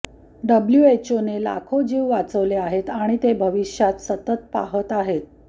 डब्ल्यूएचओने लाखो जीव वाचवले आहेत आणि ते भविष्यात सतत पाहत आहे